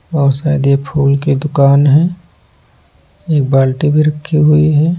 और शायद यह फूल की दुकान है एक बाल्टी भी रखी हुई है।